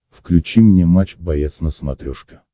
включи мне матч боец на смотрешке